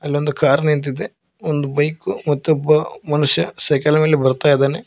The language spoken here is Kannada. ಅಲ್ಲೊಂದು ಕಾರ್ ನಿಂತಿದೆ ಒಂದು ಬೈಕು ಮತ್ತೊಬ್ಬ ಮನುಷ್ಯ ಸೈಕಲ್ ನಲ್ಲಿ ಬರ್ತಾಇದಾನೆ.